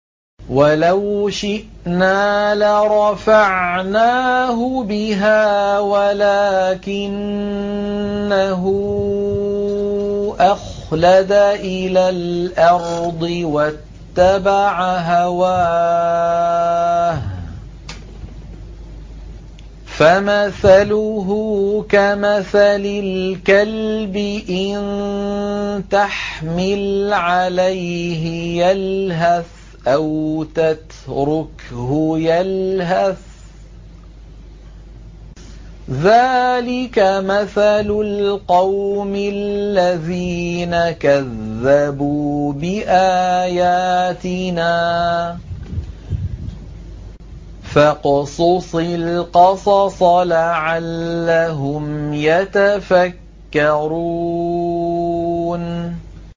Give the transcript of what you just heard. وَلَوْ شِئْنَا لَرَفَعْنَاهُ بِهَا وَلَٰكِنَّهُ أَخْلَدَ إِلَى الْأَرْضِ وَاتَّبَعَ هَوَاهُ ۚ فَمَثَلُهُ كَمَثَلِ الْكَلْبِ إِن تَحْمِلْ عَلَيْهِ يَلْهَثْ أَوْ تَتْرُكْهُ يَلْهَث ۚ ذَّٰلِكَ مَثَلُ الْقَوْمِ الَّذِينَ كَذَّبُوا بِآيَاتِنَا ۚ فَاقْصُصِ الْقَصَصَ لَعَلَّهُمْ يَتَفَكَّرُونَ